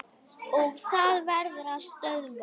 Og það verður að stöðva.